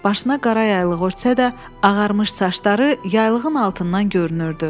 Başına qara yaylığı ötsə də, ağarmış saçları yaylığın altından görünürdü.